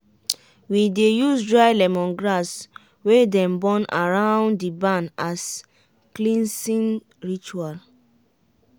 we dey use dry lemongrass wey dem burn around the barn as cleansing ritual.